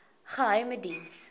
geheimediens